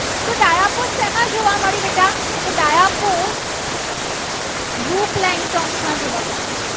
તો dispose જો plantoz માં જોવા મળે.